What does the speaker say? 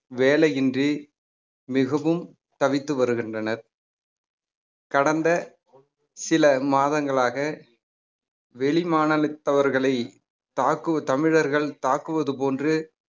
வேலையின்றி மிகவும் தவித்து வருகின்றனர் கடந்த சில மாதங்களாக வெளிமாநிலத்தவர்களை தாக்குவ~ தமிழர்கள் தாக்குவது போன்று